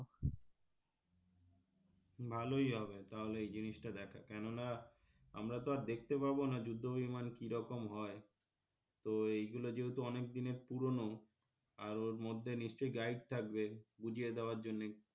ভালোই হবে তাহলে এই জিনিস টা দেখা কেননা আমরা তো আর দেখতে পাব না যুদ্ধ বিমান কিরকম হয় তো এইগুলো যেহেতু অনেক দিনের পুরনো আর ওর মধ্যে নিশ্চয় guide থাকবে বুঝিয়ে দেওয়ার জন্যে,